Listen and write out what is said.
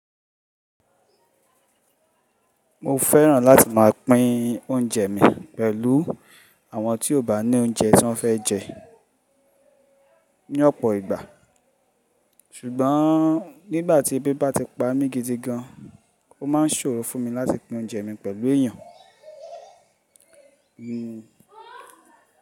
Mo fẹ́ràn láti máa pín oúnjẹ mi pẹ̀lú àwọn tí ó bá ní oúnjẹ tí wọ́n fẹ́ jẹ ní ọ̀pọ̀ ìgbà. Ṣùgbọ́n nígbà tí ebíba ti pa mí gidi gan, ó máa ń ṣòro fún mi láti pín oúnjẹ mi pẹ̀lú èèyàn mi.